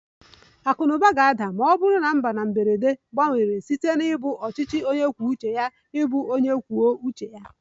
Akụ na ụba ga-ada ma ọ bụrụ na mba na mberede gbanwere site na ịbụ onye kwuo uche ya ịbụ onye kwuo uche ya